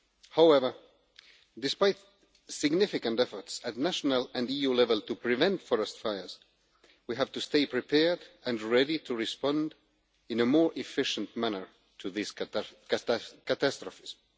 However, despite significant efforts at national and EU level to prevent forest fires, we have to stay prepared and ready to respond in a more efficient manner to these catastrophes.